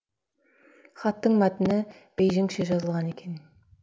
хаттың мәтіні бейжіңше жазылған екен